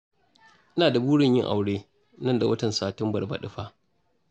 Ina da burin yin aure nan da watan Satumbar baɗi fa